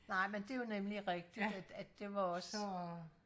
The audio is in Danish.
nej men det var nemlig rigtigt at det var også